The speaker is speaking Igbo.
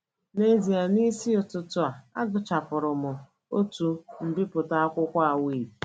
N’ezie, n’isi ụtụtụ a, agụchapụrụ m otu mbipụta akwụkwọ Awake! ”